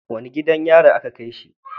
Wani gidan yari a ka kaishi?